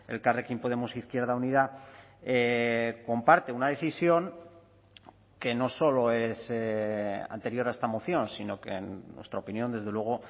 elkarrekin podemos izquierda unida comparte una decisión que no solo es anterior a esta moción sino que en nuestra opinión desde luego